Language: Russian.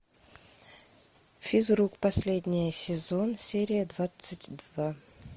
физрук последний сезон серия двадцать два